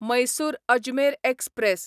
Mysore Ajmer express